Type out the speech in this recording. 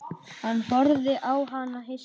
Hann horfði á hana hissa.